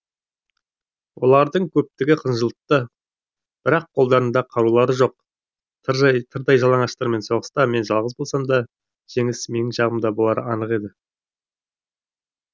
олардың көптігі қынжылтты бірақ қолдарында қарулары жоқ тырдай жалаңаштармен соғыста мен жалғыз болсам да жеңіс менің жағымда болары анық еді